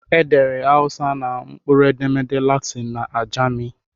Edere Hausa na mkpụrụedemede Latịn na Ajami